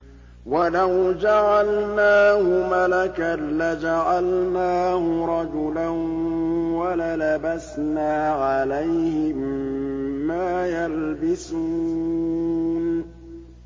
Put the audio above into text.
وَلَوْ جَعَلْنَاهُ مَلَكًا لَّجَعَلْنَاهُ رَجُلًا وَلَلَبَسْنَا عَلَيْهِم مَّا يَلْبِسُونَ